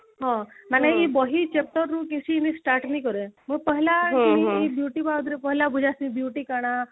ହଁ ମାନେ ଏଇ ବହି chapter ରୁ start ନେଇ କରେ beauty କଣ